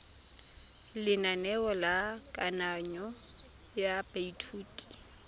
lenaneo la kananyo ya baithuti